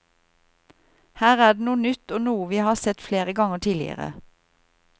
Her er det noe nytt og noe vi har sett flere ganger tidligere.